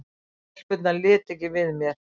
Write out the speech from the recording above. Stelpurnar litu ekki við mér.